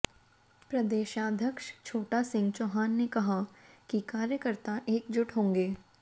प्रदेशाध्यक्ष छोटा सिंह चौहान ने कहा कि कार्यकर्ता एकजुट होंगे